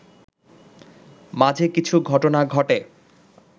মাঝে কিছু ঘটনা ঘটে